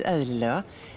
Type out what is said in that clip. eðlilega